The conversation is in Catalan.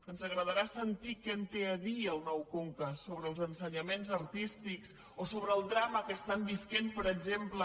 ens agradarà sentir què en té a dir el nou conca sobre els ensenya·ments artístics o sobre el drama que estan vivint per exemple